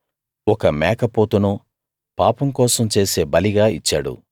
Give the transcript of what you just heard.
ఒక మేకపోతును పాపం కోసం చేసే బలిగా ఇచ్చాడు